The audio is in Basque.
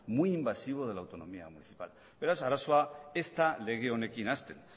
muy invasivo de la autonomía municipal beraz arazoa ez da lege honekin hasten